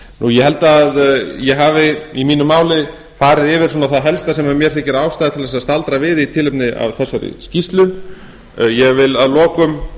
ég held að ég hafi í mínu máli farið yfir það helsta sem mér þykir ástæða til að staldra við í tilefni af þessari skýrslu ég vil að lokum